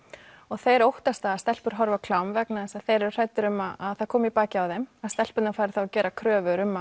þeir óttast það að stelpur horfi á klám vegna þess að þeir eru hræddir um að það komi í bakið á þeim að stelpurnar fari þá að gera kröfur um